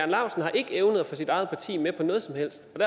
laustsen har ikke evnet at få sit eget parti med på noget som helst